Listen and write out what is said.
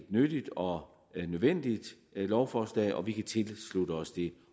nyttigt og nødvendigt lovforslag og vi kan tilslutte os det